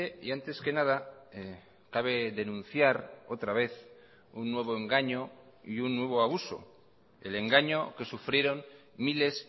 y antes que nada cabe denunciar otra vez un nuevo engaño y un nuevo abuso el engaño que sufrieron miles